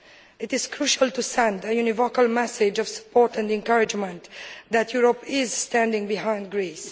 It is crucial to send an unequivocal message of support and encouragement that Europe is standing behind Greece.